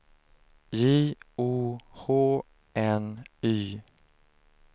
J O H N Y